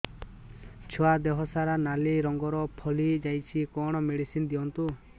ଛୁଆ ଦେହ ସାରା ନାଲି ରଙ୍ଗର ଫଳି ଯାଇଛି କଣ ମେଡିସିନ ଦିଅନ୍ତୁ